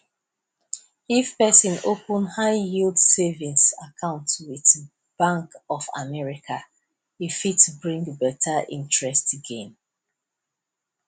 if person open high yield savings account with bank of america e fit bring better interest gain